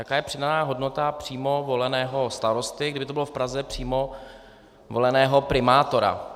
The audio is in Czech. Jaká je přidaná hodnota přímo voleného starosty, kdyby to bylo v Praze, přímo voleného primátora.